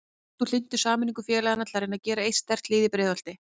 Ert þú hlynntur sameiningu félagana til að reyna að gera eitt sterkt lið í Breiðholti?